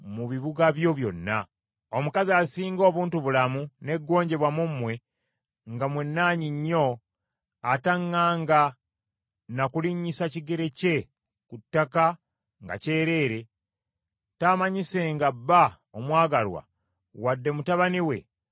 Omukazi asinga obuntubulamu n’eggonjebwa mu mmwe, nga mwenaanyi nnyo, ataŋŋanga na kulinnyisa kigere kye ku ttaka nga kyereere, taamanyisenga bba omwagalwa, wadde mutabani we, oba muwala we,